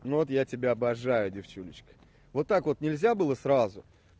ну вот я тебя обожаю девчулечка вот так вот нельзя было сразу